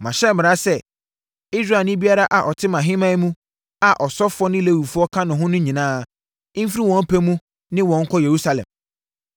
Mahyɛ mmara sɛ, Israelni biara a ɔte mʼahemman mu a asɔfoɔ ne Lewifoɔ ka ho no nyinaa mfiri wɔn pɛ mu ne wo nkɔ Yerusalem.